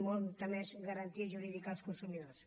molta més garantia jurídica als consumidors